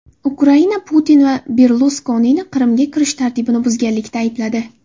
Ukraina Putin va Berluskonini Qrimga kirish tartibini buzganlikda aybladi.